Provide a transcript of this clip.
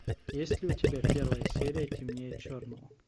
есть ли у тебя первая серия темнее черного